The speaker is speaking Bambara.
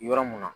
Yɔrɔ mun na